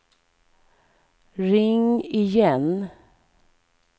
ring igen